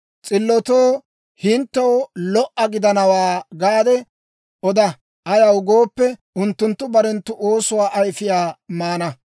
S'illotoo, «Hinttew lo"a gidanawaa» gaade oda; ayaw gooppe, unttunttu barenttu oosuwaa ayfiyaa maana.